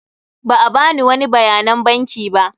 Ba a bani wani bayanan banki ba.